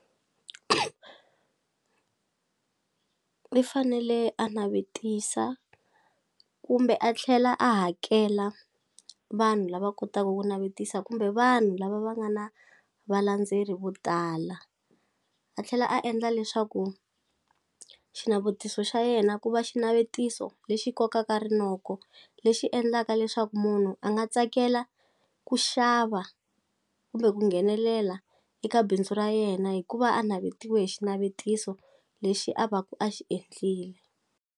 I fanele a navetisa kumbe a tlhela a hakela vanhu lava kotaku ku navetisa kumbe vanhu lava va nga na valandzeri vo tala a tlhela a endla leswaku xinavetiso xa yena ku va xinavetiso lexi kokaka rinoko lexi endlaka leswaku munhu a nga tsakela ku xava kumbe ku nghenelela eka bindzu ra yena hikuva a navetiwe hi xinavetiso lexi a va ku a xi endlile.